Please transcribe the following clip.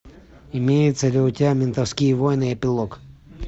имеется ли у тебя ментовские войны эпилог